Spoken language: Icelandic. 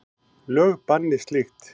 Lög banni slíkt.